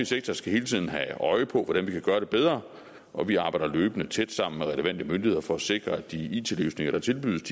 sektor skal hele tiden have øje for hvordan vi kan gøre det bedre og vi arbejder løbende tæt sammen med relevante myndigheder for at sikre at de it løsninger der tilbydes